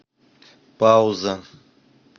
пауза